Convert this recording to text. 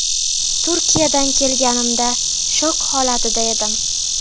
Turkiyadan kelganimda shok holatida edim.